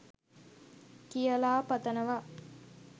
කියලා පතනවා